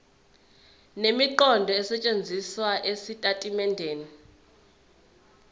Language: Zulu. nemiqondo esetshenzisiwe ezitatimendeni